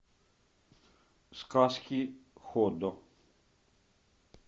сказки ходо